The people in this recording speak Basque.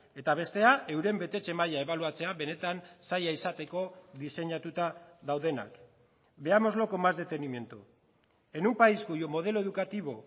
eta bestea euren betetze maila ebaluatzea benetan zaila izateko diseinatuta daudenak veámoslo con más detenimiento en un país cuyo modelo educativo